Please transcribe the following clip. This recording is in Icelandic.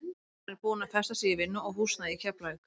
Hann er búinn að festa sig í vinnu og húsnæði í Keflavík.